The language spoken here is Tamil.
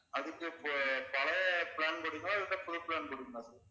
அதுக்கு இப்ப பழைய plan போட்டீங்களா இல்ல புது plan போட்டீங்களா sir